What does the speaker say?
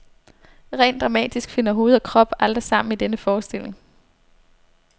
Rent dramatisk finder hoved og krop aldrig sammen i denne forestilling.